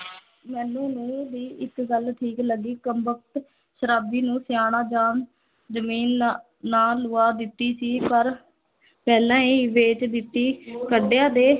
ਮੈਨੂੰ ਨੂੰਹ ਦੀ ਇੱਕ ਗੱਲ ਠੀਕ ਲੱਗੀ ਕੰਬਕਤ ਸ਼ਰਾਬੀ ਨੂੰ ਸਿਆਣਾ ਜਾਣ ਜਮੀਨ ਨਾਂ ਨਾਂ ਲਵਾ ਦਿੱਤੀ ਸੀ ਪਰ ਪਹਿਲਾਂ ਹੀ ਵੇਚ ਦਿੱਤੀ ਕੱਡਿਆ ਦੇ